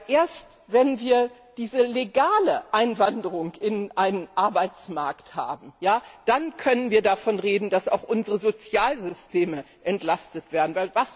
Erst wenn wir diese legale Einwanderung in einen Arbeitsmarkt haben, dann können wir davon reden, dass auch unsere Sozialsysteme entlastet werden.